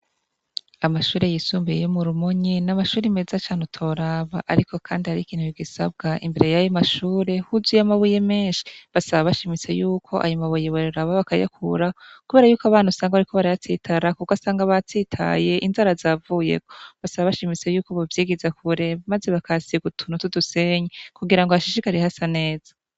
Amashure yisumbuye yo murumonye namashure meza cane ariko harikintu gisabwa imbere yayo mashure huzuye amabuye menshi basaba bashimitse yuko ayo mabuye boraba bakayakuraho kubera yuko usanga abana bariko barayatsitarako ugasanga batsitaye inzara zavuyeko basaba bashimitse baraba ko bovyegeza kure maze bakahasiga udusenyi kugirango hashishikare hasa neza.